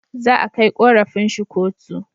Za a kai korafin shi kotu